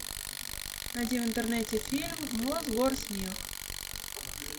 найди в интернете фильм мосгорсмех